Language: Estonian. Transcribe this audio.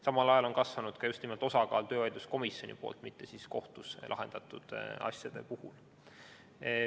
Samal ajal on kasvanud ka just nimelt töövaidluskomisjoni poolt, mitte kohtus lahendatud asjade osakaal.